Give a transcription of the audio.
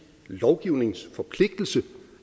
lovgivningsforpligtelse